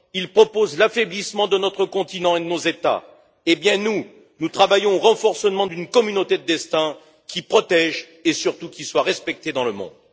Ils proposent l'affaiblissement de notre continent et de nos États, mais nous, nous travaillons au renforcement d'une communauté de destins qui protège et, surtout, qui soit respectée dans le monde.